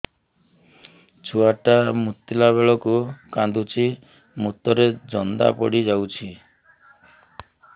ଛୁଆ ଟା ମୁତିଲା ବେଳକୁ କାନ୍ଦୁଚି ମୁତ ରେ ଜନ୍ଦା ପଡ଼ି ଯାଉଛି